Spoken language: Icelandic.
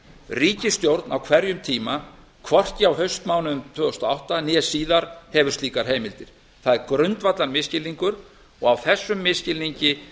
ríkisstjórn á hverjum tíma hvorki á haustmánuðum tvö þúsund og átta né síðar hefur slíkar heimildir það er grundvallarmisskilningur og á þessum misskilningi